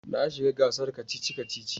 Na shiga gasar kacici-kaci.